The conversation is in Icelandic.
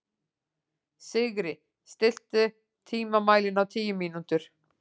Sigri, stilltu tímamælinn á tíu mínútur.